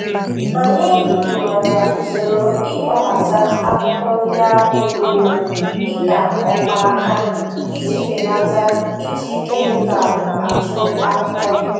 Anyị hiwara usoro ịkpọbata ahụhụ ndị ahụ dị mma dịka ọkpaaka iji belata iji kenikal achụ ahụhụ.